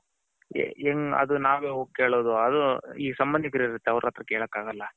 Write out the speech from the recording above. ಹೆಂಗೆ ಅದು ನಾವೆ ಹೋಗಿ ಕೆಲ್ಲೋದು ಅದು ಈ ಸಂಬಂದಿಕ್ರು ಅವರ ಹತಿರ ಕೆಲ್ಲಕ್ ಅಗಲ್ಲ.